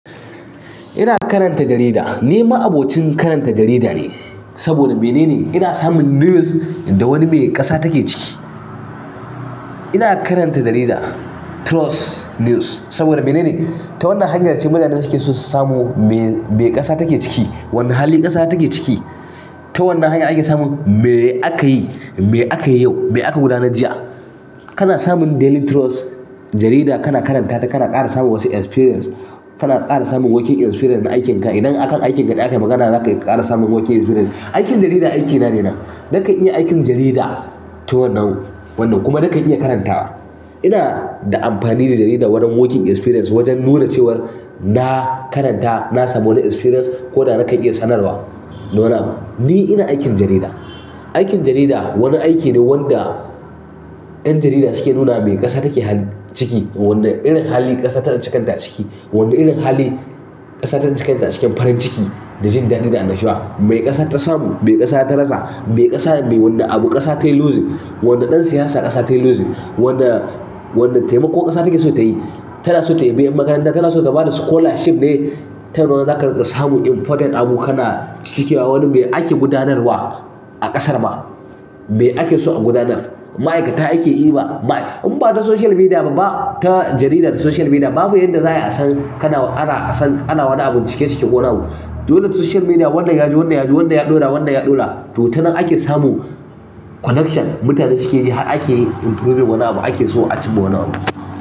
Ina karanta jarida. Ni ma abocin karanta jarida ne, saboda mene ne? Ina samun news da wani mai ƙasa take ciki. Ina karanta jarida, Trust News saboda mene ne? Ta wannan hanyar ce mutane suke so su samu me, me ƙasa take ciki. Wane hali ƙasa take ciki. Ta wannan hanya ake samun me akayi, me akayi yau, me aka gudanar jiya. Kana samun Daily Trust jarida kana karanta ta, kana ƙara samun wasu experience, kana ƙara samun working experience na aikin ka. Idan akan aikin aka yi magana zaka iya ƙara samun working experience. Aikin jarida aikina ne na. Naka iya aikin jarida ta wannan, wannan kuma naka iya karanta. Ina da amfani da jarida wurin working experience wajen nuna cewar na karanta, na samu wani experience ko da nakan iya sanarwa da wani abu, ni ina aikin jarida. Aikin jarida wani aiki ne wanda yan jarida suke nuna mai kasa suke hali ciki wani irin hali kasa ta tsince kanta ciki wane irin hali ƙasa ta tsince kanta a cikin farin ciki da jin daɗi da an nashuwa. Me ƙasa ta samu, me ƙasa ta rasa, me ƙasa, me wani abu ƙasa ta yi losing, wani ɗan siyasa ƙasa ta yi losing, wane, wane taimako ƙasa take so ta yi. Tana so ta yabi yan makaranta, tana so ta ba da scholarship ne, ta wannan zaka samu important abu kana cikewa. Wani mai ake gudanar wa a ƙasar ma, me ake so a gudanar. Ma'aikata ake iba, in bata social media ba, ta jaridar da social media babu yadda za ai a san kana, ana, san ana wani abun cike cike ko wani abu. Dole social media wannan yaji, wannan yaji, wannan ya ɗora, wannan ya ɗora. To ta nan ake samun collection mutane sukeyi har ake yi improving wani abu har ake so a cinma wani abu.